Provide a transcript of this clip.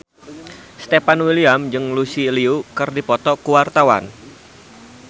Stefan William jeung Lucy Liu keur dipoto ku wartawan